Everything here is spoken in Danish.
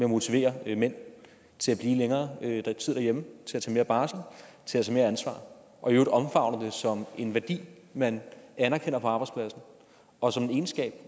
motivere mænd til at blive længere tid derhjemme til at tage mere barsel til at tage mere ansvar og i øvrigt omfavne det som en værdi man anerkender på arbejdspladsen og som en egenskab